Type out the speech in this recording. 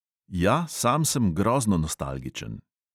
Ja, sam sem grozno nostalgičen.